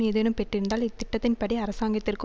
ஏதேனும் பெற்றிருந்தால் இத்திட்டத்தின்படி அரசாங்கத்திற்கு